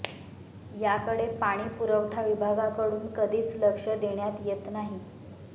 याकडे पाणी पुरवठा विभागाकडून कधीच लक्ष देण्यात येत नाही